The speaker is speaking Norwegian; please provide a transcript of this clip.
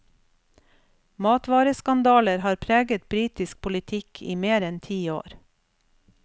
Matvareskandaler har preget britisk politikk i mer enn ti år.